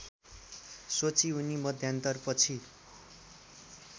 सोची उनी मध्यान्तरपछि